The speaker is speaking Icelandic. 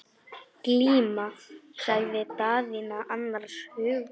Glíma, sagði Daðína annars hugar.